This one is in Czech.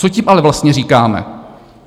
Co tím ale vlastně říkáme?